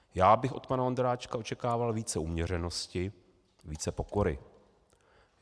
Já bych od pana Ondráčka očekával více uměřenosti, více pokory.